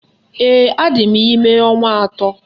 Ee, adị m ime ọnwa atọ